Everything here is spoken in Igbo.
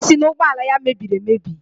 Ọ sị na ụgbọala ya mebiri emebi